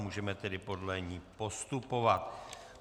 Můžeme tedy podle ní postupovat.